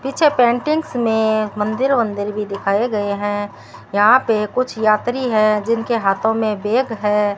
पीछे पेंटिंग्स में मंदिर वंदिर भी दिखाए गए हैं यहां पे कुछ यात्री है जिनके हाथों में बैग है।